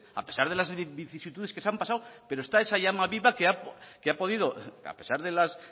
a pesar de las vicisitudes que se han pasado pero está esa llama viva que ha podido a pesar de las